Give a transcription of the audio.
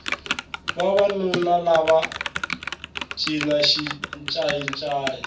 vavanuna lava va cina xincayi ncayi